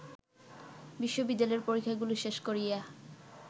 বিশ্ববিদ্যালয়ের পরীক্ষাগুলি শেষ করিয়া